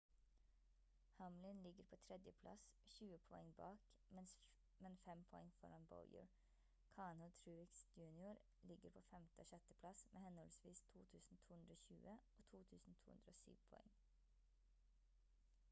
hamlin ligger på 3. plass 20 poeng bak men 5 poeng foran bowyer kahne og truex jr ligger på 5. og 6. plass med henholdsvis 2220 og 2207 poeng